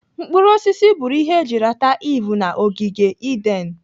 Mkpụrụ osisi bụrụ ihe eji rata Iv na ogige Eden.